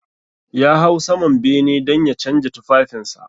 Ya hau saman bene dan ya canja tufafinsa.